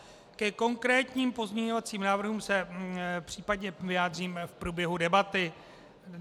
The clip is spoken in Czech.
Ke konkrétním pozměňovacím návrhům se případně vyjádřím v průběhu debaty.